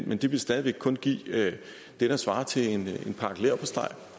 men det vil stadig væk kun give det der svarer til en